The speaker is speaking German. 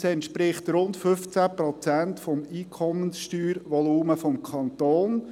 Das entspricht rund 15 Prozent des Einkommenssteuervolumens des Kantons.